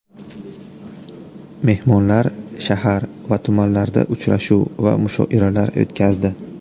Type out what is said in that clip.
Mehmonlar shahar va tumanlarda uchrashuv va mushoiralar o‘tkazdi.